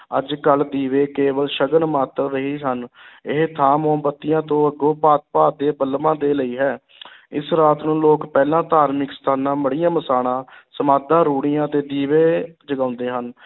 ਅੱਜ-ਕਲ੍ਹ ਦੀਵੇ ਕੇਵਲ ਸ਼ਗਨ ਮਾਤਰ ਰਹੇ ਹਨ ਇਹ ਥਾਂ ਮੋਮਬੱਤੀਆਂ ਤੋਂ ਅਗੋਂ ਭਾਂਤ-ਭਾਂਤ ਦੇ ਬਲਬਾਂ ਦੇ ਲਈ ਹੈ ਇਸ ਰਾਤ ਨੂੰ ਲੋਕ ਪਹਿਲਾਂ ਧਾਰਮਿਕ ਸਥਾਨਾਂ, ਮੜ੍ਹੀਆਂ ਮਸਾਣਾਂ, ਸਮਾਧਾਂ, ਰੂੜ੍ਹੀਆਂ 'ਤੇ ਦੀਵੇ ਜਗਾਉਂਦੇ ਹਨ।